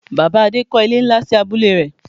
Bàbá Adé kọ́ ilé nlá sí abúlé rẹ̀